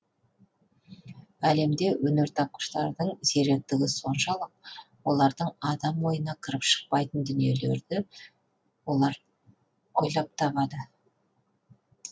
әлемде өнертапқыштардың зеректігі соншалық олардың адам ойына кіріп шықпайтын дүниелерді олар ойлап табады